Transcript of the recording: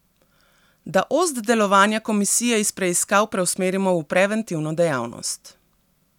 Da ost delovanja komisije iz preiskav preusmerimo v preventivno dejavnost.